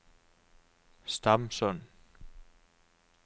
Stamsund